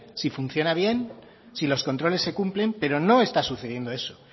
si funciona bien si los controles se cumplen pero no está sucediendo eso